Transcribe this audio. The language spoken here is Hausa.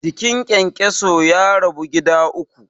Jikin kyankyaso ya rabu gida uku.